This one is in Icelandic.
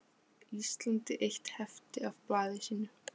Íslandi eitt hefti af blaði sínu.